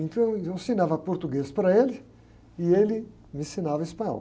Então, eu ensinava português para ele e ele me ensinava espanhol.